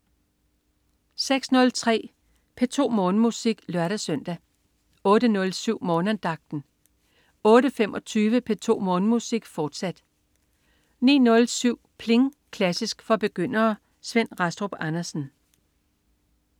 06.03 P2 Morgenmusik (lør-søn) 08.07 Morgenandagten 08.25 P2 Morgenmusik, fortsat 09.07 Pling! Klassisk for begyndere. Svend Rastrup Andersen